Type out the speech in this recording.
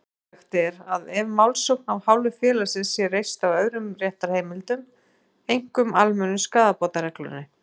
Hugsanlegt er að málsókn af hálfu félagsins sé reist á öðrum réttarheimildum, einkum almennu skaðabótareglunni.